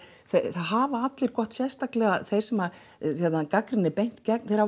það hafa allir gott sérstaklega þeir sem gagnrýnin er beint gegn hafa